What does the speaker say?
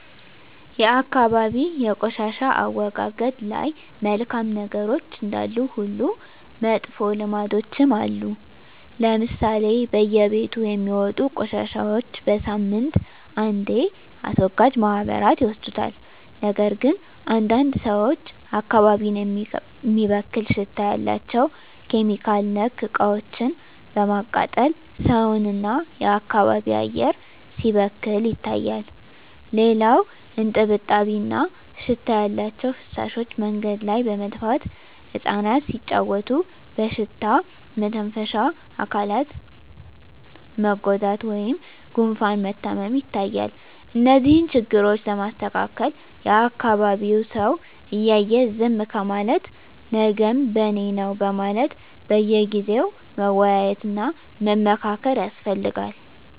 የአካባቢ የቆሻሻ አወጋገድ ላይ መልካም ነገሮች እንዳሉ ሁሉ መጥፎ ልምዶችም አሉ ለምሳሌ በየቤቱ የሚወጡ ቆሻሻዎች በሳምንት አንዴ አስወጋጅ ማህበራት ይወስዱታል ነገር ግን አንዳንድ ሰዎች አካባቢን የሚበክል ሽታ ያላቸው (ኬሚካል)ነክ እቃዎችን በማቃጠል ሰውን እና የአካባቢ አየር ሲበከል ይታያል። ሌላው እጥብጣቢ እና ሽታ ያላቸው ፍሳሾች መንገድ ላይ በመድፋት እፃናት ሲጫዎቱ በሽታ መተንፈሻ አካላት መጎዳት ወይም ጉፋን መታመም ይታያል። እነዚህን ችግሮች ለማስተካከል የአካቢዉ ሰው እያየ ዝም ከማለት ነገም በኔነው በማለት በየጊዜው መወያየት እና መመካከር ያስፈልጋል።